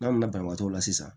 N'an nana banbaatɔ la sisan